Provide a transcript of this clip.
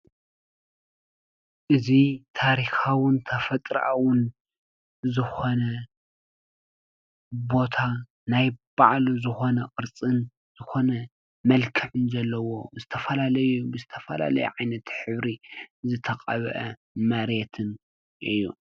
እዚ ታሪካዊን ተፈጥራኣዊን ዝኾነ ቦታ ናይ ባዕሉ ዝኾነ ቅርፅን ዝኮነ መልክዕን ዘለዎ ዝተፈላለዩ ብዝተፈላለዩ ዓይነት ሕብሪ ዝተቐብአ መሬትን እዩ።